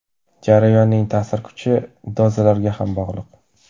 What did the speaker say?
Jarayonning ta’sir kuchi dozalarga ham bog‘liq.